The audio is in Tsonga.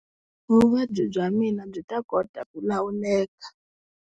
Vuvabyi bya mina byi ta kota ku lawuleka.